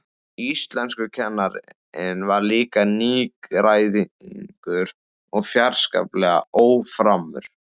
Íslenskukennarinn var líka nýgræðingur og fjarskalega óframur.